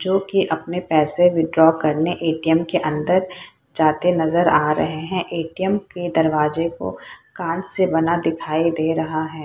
जो कि अपने पैसे विथड्रॉ करने ए.टी.एम. के अंदर जाते नजर आ रहे हैं ए.टी.एम. के दरवाजे को कांच से बना हुआ दिखाई दे रहा है।